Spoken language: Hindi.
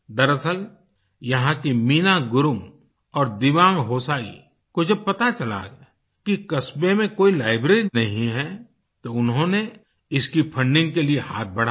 दरअसल यहाँ की मीना गुरुंग और दिवांग होसाई को जब पता चला कि कस्बे में कोई लाइब्रेरी नहीं है तो उन्होंने इसकी फंडिंग के लिए हाथ बढ़ाया